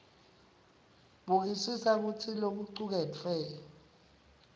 bukisisa kutsi lokucuketfwe